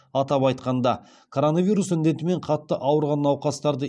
атап айтқанда коронавирус індетімен қатты ауырған науқастарды